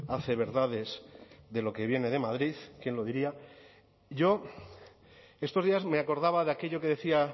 hace verdades de lo que viene de madrid quién lo diría yo estos días me acordaba de aquello que decía